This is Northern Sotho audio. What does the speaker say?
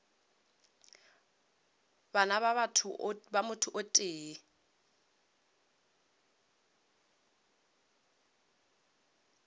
bana ba motho o tee